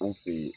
An fe yen